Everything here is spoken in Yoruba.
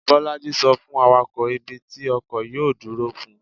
bolájí so fun awakọ, ibi tí ọkọ yọọ duro fún